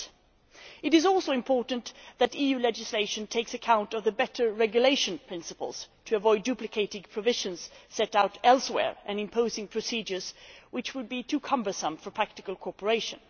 8. It is also important that EU legislation takes account of the better regulation principles, in order to avoid duplicating provisions set out elsewhere and imposing procedures which would be too cumbersome for practical cooperation.